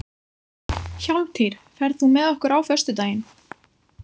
Hjálmtýr, ferð þú með okkur á föstudaginn?